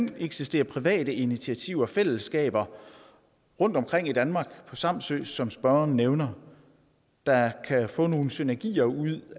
kan eksistere private initiativer fællesskaber rundtomkring i danmark på samsø som spørgeren nævner der kan få nogle synergier ud